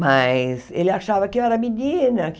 Mas ele achava que eu era menina.